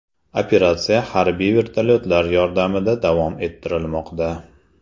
Operatsiya harbiy vertolyotlar yordamida davom ettirilmoqda.